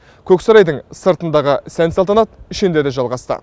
көксарайдың сыртындағы сән салтанат ішінде де жалғасты